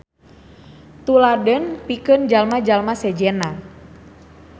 Tuladeun pikeun jalma-jalma sejenna.